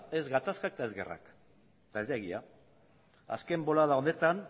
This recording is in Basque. ez gatazkak eta ez gerrak eta ez da egia azken bolada honetan